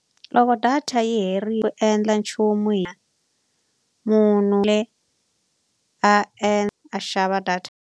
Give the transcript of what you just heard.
Loko data yi herile ku endla nchumu hi munhu a xava data.